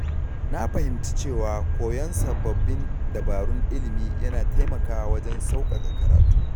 Na fahimci cewa koyon sababbin dabarun ilimi yana taimakawa wajen sauƙaƙa karatu.